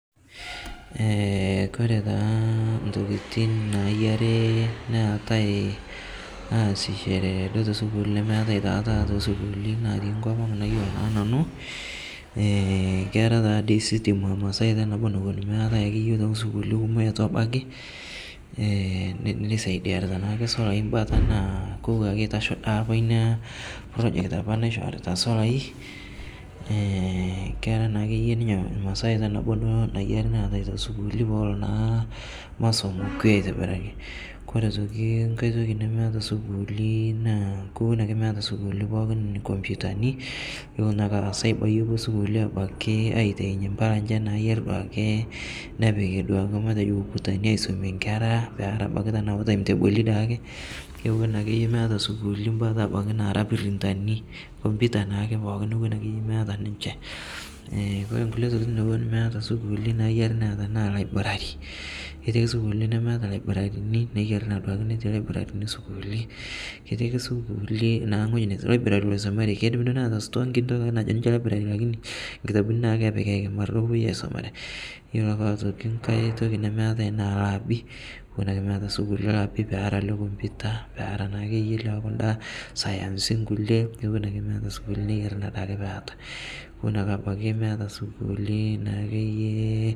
koree taa intokitin nayiare neetai aasishore duo tesukul nemeetai taa duo tataa too sukulini naatii enkop ang nayiolo taa nanu keetai taa dii sutii naata ilmasaii nemeetai taa ake iyie too sukulini kumok natabakie nekisaidia naake solai mbata na kokua ake eitasho naa project apa naishorita solai keetai naa ake iyie ninye masaa naboo duo naatae too sukulini peelo na masomo aitobiraki koree eitoki nkae toki nemeitoki sukuuli naa meeta sukuuli pookin inkoputani